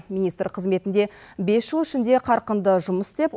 министр қызметінде бес жыл ішінде қарқынды жұмыс істеп